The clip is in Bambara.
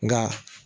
Nka